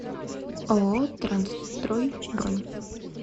ооо трансстрой бронь